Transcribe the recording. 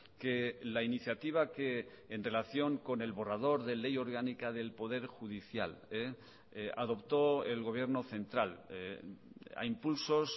que la iniciativa que en relación con el borrador de ley orgánica del poder judicial adoptó el gobierno central a impulsos